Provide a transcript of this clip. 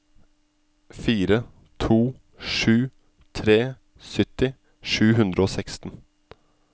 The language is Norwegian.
fire to sju tre sytti sju hundre og seksten